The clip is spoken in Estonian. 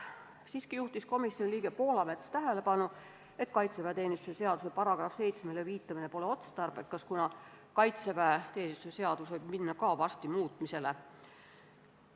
Siiski juhtis komisjoni liige Anti Poolamets tähelepanu sellele, et kaitseväeteenistuse seaduse § 7-le viitamine pole otstarbekas, kuna ka kaitseväeteenistuse seadus võib varsti minna muutmisele.